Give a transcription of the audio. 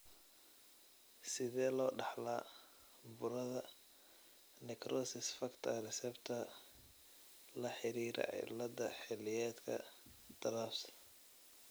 Sidee loo dhaxlaa burada necrosis factor reseptor laxiriira cilladda xilliyeedka (TRAPS)?